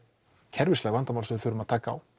kerfisleg vandamál sem við þurfum að taka á